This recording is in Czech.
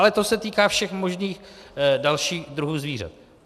Ale to se týká všech možných dalších druhů zvířat.